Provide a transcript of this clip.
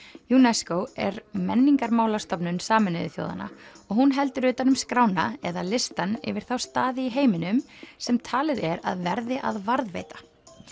UNESCO er Menningarmálastofnun Sameinuðu þjóðanna og hún heldur utan um skrána eða listann yfir þá staði í heiminum sem talið er að verði að varðveita